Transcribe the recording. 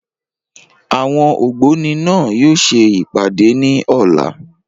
Àwọn ògbóni náà yóò ṣe ìpàdé ní ọ̀la.